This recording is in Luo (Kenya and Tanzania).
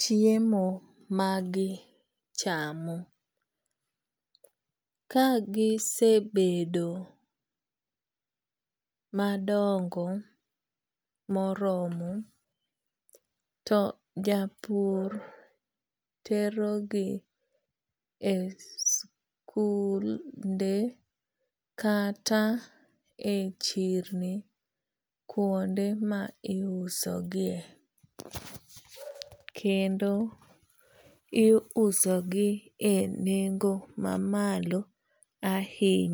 chiemo ma gi chamo kagisebedo madongo moromo to japur terogi e skunde kata e chirni kuonde ma iusogie kendo iuse gi e nengo mamalo ahinya